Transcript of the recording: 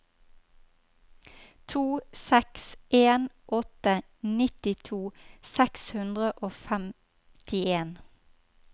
to seks en åtte nittito seks hundre og femtien